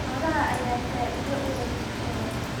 Xoolaha ayaa faa�iido u leh bulshada.